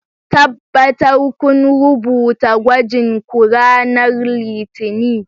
Tabbatar kun rubuta gwajin ku ranar Litinin!